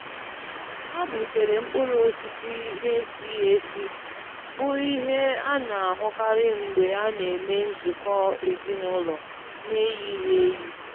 Ha butere mkpụrụ osisi n'esighị esi, bụ ihe a na-ahụkarị mgbe a na-eme nzukọ ezinaụlọ n'eyighị eyi.